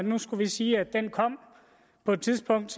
vi nu skulle sige at den kom på et tidspunkt